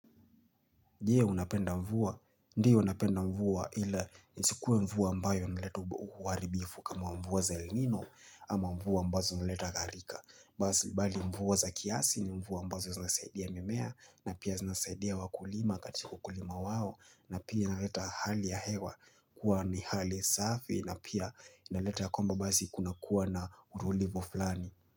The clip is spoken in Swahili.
Ndiye unapenda mvua? Ndiye unapenda mvua ila isikue mvua mbayo inaleta uwaribifu kama mvua za ilinuno ama mvua mbazo zinaleta garika. Bali mvua za kiasi ni mvua mbazo zinasaidia mimea na pia zinasaidia wakulima katika ukulima wao na pia nileta hali ya hewa kuwa ni hali safi na pia inaleta ya kwamba basi kuna kuwa na urulivo flani.